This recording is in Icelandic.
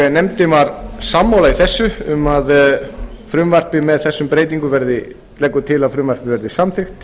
nefndin var sammála í þessu og leggur til að frumvarpið verði samþykkt